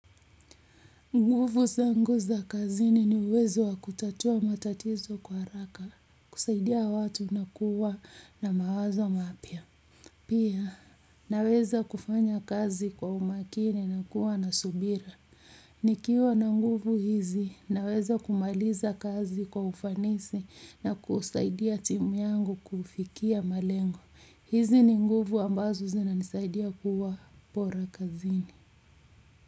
Nguvu zangu za kazini ni uwezo wa kutatua matatizo kwa haraka, kusaidia watu na kuwa na mawazo mapya. Pia, naweza kufanya kazi kwa umakini na kuwa na subira. Nikiwa na nguvu hizi, naweza kumaliza kazi kwa ufanisi na kusaidia timu yangu kufikia malengo. Hizi ni nguvu ambazo zinanisaidia kuwa bora kazini.